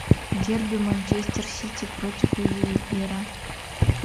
дерби манчестер сити против ливера